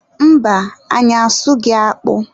Mba, anyị asụghị akpụ.